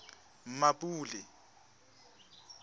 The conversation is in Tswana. mmapule